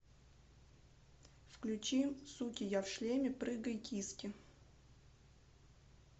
включи суки я в шлеме прыгай киски